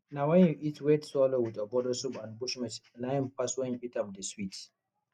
na wen you eat wheat swallow with ogbono soup and bushmeat na im pass wen you eat am dey sweet